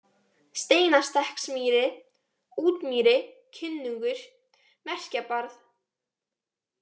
Steinastekksmýri, Útmýri, Kinnungur, Merkjabarð